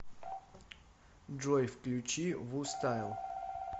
джой включи вустайл